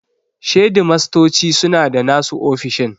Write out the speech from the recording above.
Shedimastoci suna da nasu ofisoshin.